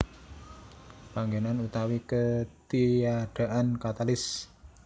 Panggenan utawi ketiadaan katalis